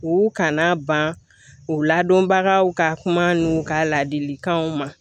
U kana ban u ladɔnbagaw ka kuma n'u ka ladilikanw ma